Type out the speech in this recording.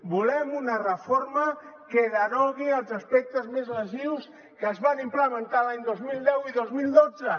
volem una reforma que derogui els aspectes més lesius que es van implementar l’any dos mil deu i dos mil dotze